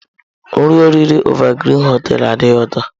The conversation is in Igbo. Nri oriri Evergreen hoteelu adighị ụtọ.